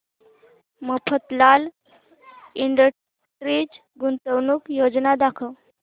Mafatlal industries गुंतवणूक योजना दाखव